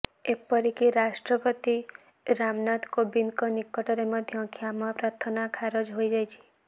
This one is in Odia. ଏପରିକି ରାଷ୍ଟ୍ରପତି ରାମନାଥ କୋବିନ୍ଦଙ୍କ ନିକଟରେ ମଧ୍ୟ କ୍ଷମା ପ୍ରାର୍ଥନା ଖାରଜ ହୋଇଯାଇଛି